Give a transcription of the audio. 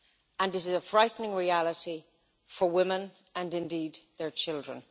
And this is a frightening reality for women and indeed their children.